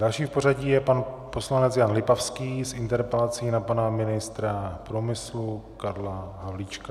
Další v pořadí je pan poslanec Jan Lipavský s interpelací na pana ministra průmyslu Karla Havlíčka.